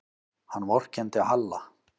Hann vorkenndi Halla.